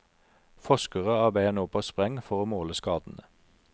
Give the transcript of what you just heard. Forskere arbeider nå på spreng for å måle skadene.